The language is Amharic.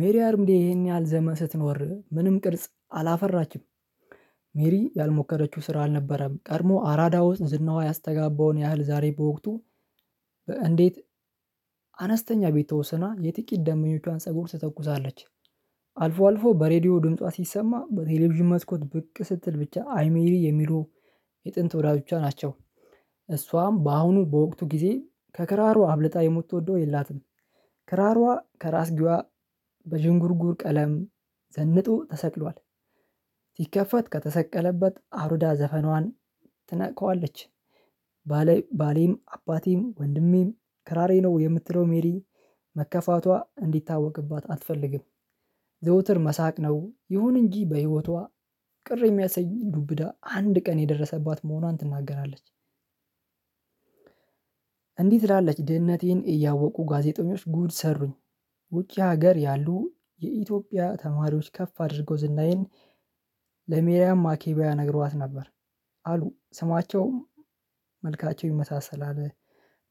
ሜሪ አርምዴ ይሄን ያህል ዘመን ስትኖር ምንም ቅርጽ አላፈራችም። ሜሪ ያልሞከረችው ስራ አልነበረም ቀድሞ አራዳ ውስጥ ዝናዋ ያስተጋባውን ያህል ዛሬ በወቅቱ። እንዴት? አነስተኛ ቤት ተወስና የጥቂት ደንበኞቿን ፀጉር ትተኩሳለች። አልፎ አልፎ በሬዲዮ ድምጿ ሲሰማ በቴሌቪዥን መስኮት ብቅ ስትል ብቻ አይ ሜሪ የሚሉ የጥንት ወዳጆቿ ናቸው። እሷም በአሁኑ በወቅቱ ጊዜ ከክራሩ አብልጣ የምተወደው የላትም። ክራሯ ከራስጌዋ በዥንጉርጉር ቀለም ዘንጦ ተሰቅሏል። ሲከፈት ከተሰቀለበት አሩዳ ዘፈኗን ትነካዋለች። ባሌም አባቴም ወንድሜም ከራራዬ ነው የምትለው ሜሪ መከፋቷ እንዲታወቅባት አትፈልግም። ዘውትር መሳቅ ነው ይሁን እንጂ በህይወቷ ቅር የሚያሰኝ ዱብዳ አንድ ቀን የደረሰባት መሆኗን ትናገራለች። እንዲህ ትላለች ድህነቴን እያወቁ ጋዜጠኞች ጉድ ሰሩኝ። ውጪ ሀገር ያሉ የኢትዮጵያ ተማሪዎች ከፍ አድርገው ዝናዬን። ለሜሪያም ማኬቢያ ነግሯት ነበር። አሉ ስማቸውም መልካቸው ይመሳሰላል።